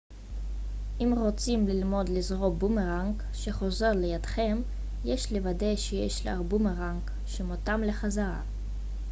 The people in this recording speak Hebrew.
אם רוצים ללמוד לזרוק בומרנג שחוזר לידכם יש לוודא שיש לך בומרנג שמותאם לחזרה